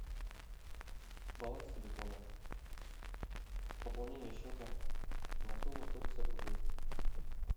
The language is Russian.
баланс телефона пополнение счета на сумму сто пятьдесят рублей